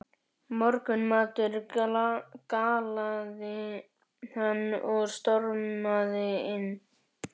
Morgunmatur galaði hann og stormaði inn.